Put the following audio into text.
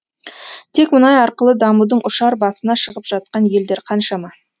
тек мұнай арқылы дамудың ұшар басына шығып жатқан елдер қаншама